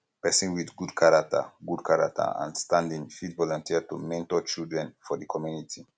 person with good character um good character um and standing fit volunteer to mentor children um for di community